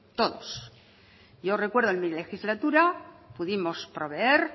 todos yo recuerdo en mi legislatura pudimos proveer